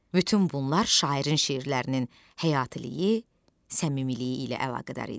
Bütün bunlar şairin şeirlərinin həyatiliyi, səmimiliyi ilə əlaqədar idi.